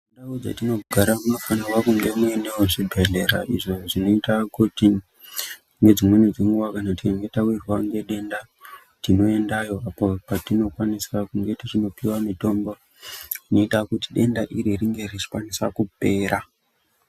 Ndau dzetinogara munofanira kunge muinewo zvibhedhlera izvo zvinoita kuti ngedzimweni dzenguwa tikanga tawirwa ngedenda tinoendayo uko kwatinokwanisa kunge tichinopiwa mitombo inoita kuti denda iri ringe richikwanisa kupera.